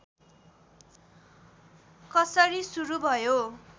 कसरी सुरू भयो